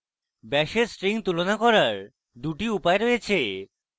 bash একটি string তুলনা করার দুটি উপায় রয়েছে